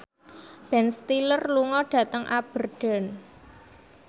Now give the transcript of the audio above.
Ben Stiller lunga dhateng Aberdeen